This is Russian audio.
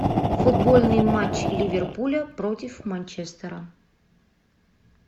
футбольный матч ливерпуля против манчестера